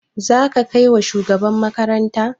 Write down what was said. Za ka kai wa shugaban makaranta?